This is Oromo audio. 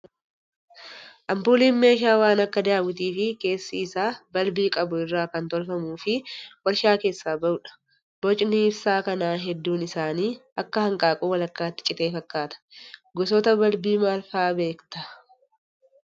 Ampuuliin meeshaa waan akka daawwitii fi keessi isaa balbii qabu irraa kan tolfamuu fi warshaa keessaa bahudha. Bocni ibsaa kanaa hedduun isaanii akka hanqaaquu walakkaatti citee fakkaata. Gosoota balbii maal fa'aa beektaa?